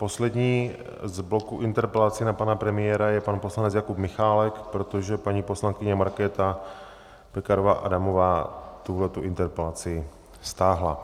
Poslední z bloku interpelací na pana premiéra je pan poslanec Jakub Michálek, protože paní poslankyně Markéta Pekarová Adamová tuhletu interpelaci stáhla.